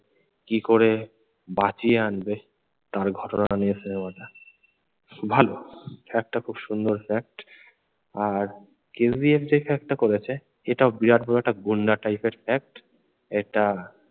কি করে বাঁচিয়ে আনবে তার ঘটনাটা নিয়ে সিনেমাটা। ভালো fact টা খুব সুন্দর fact আর কেজিএফ যে fact টা করেছে এটাও বিরাট বড়ো একটা গুন্ডা type এর fact একটা।